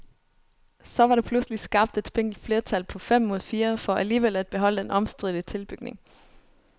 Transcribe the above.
Så var der pludselig skabt et spinkelt flertal på fem mod fire for alligevel at beholde den omstridte tilbygning.